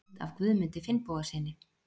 Mynd af Guðmundi Finnbogasyni.